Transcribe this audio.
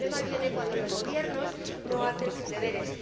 El problema viene cuando los gobiernos no hacen sus deberes.